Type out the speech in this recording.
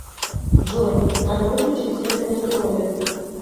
джой надо выключить свет в гардеробе